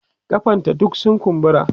kafan ta duk sun kumbura